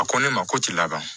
A ko ne ma ko ti laban